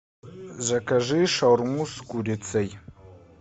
закажи шаурму с курицей